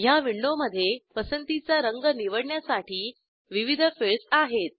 ह्या विंडोमधे पसंतीचा रंग निवडण्यासाठी विविध फिल्डस आहेत